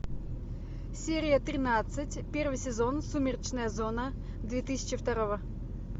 серия тринадцать первый сезон сумеречная зона две тысячи второго